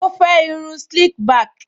Ó fẹ́ irun slick back